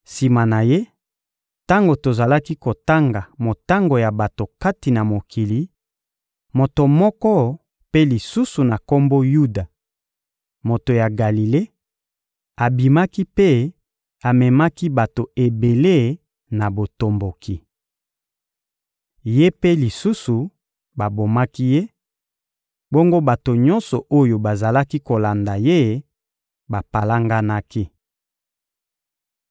Sima na ye, tango tozalaki kotanga motango ya bato kati na mokili, moto moko mpe lisusu na kombo Yuda, moto ya Galile, abimaki mpe amemaki bato ebele na botomboki. Ye mpe lisusu babomaki ye, bongo bato nyonso oyo bazalaki kolanda ye bapalanganaki.